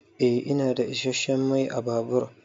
Eh ina da isasshen Mai ã babur.